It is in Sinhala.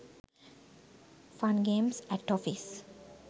fun games at office